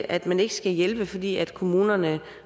at man ikke skal hjælpe fordi kommunerne